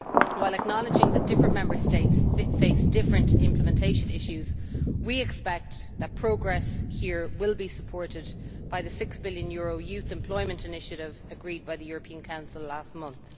While acknowledging that different Member States face different implementation issues, we expect that progress will be supported by the EUR 6 billion Youth Employment Initiative agreed by the European Council last month.